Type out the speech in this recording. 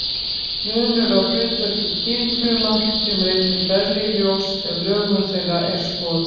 Munur á hlutverki kynfruma kemur einnig berlega í ljós ef lögun þeirra er skoðuð.